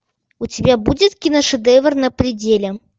у тебя будет киношедевр на пределе